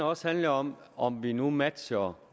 også handlet om om vi nu matcher